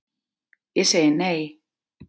Ég segi nei,